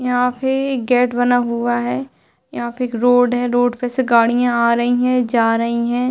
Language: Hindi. यहाँ पे एक गेट बना हुआ है। यहाँ पे एक रोड है। रोड पे से गाड़ियाँ आ रही हैं। जा रही हैं।